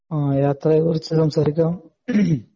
ആഹ് യാത്രയെ കുറിച്ച് സംസാരിക്കാം മ്മ്ഹ്